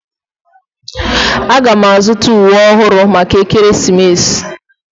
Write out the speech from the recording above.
Aga m azuta uwe ọhụrụ maka ekeresimesi.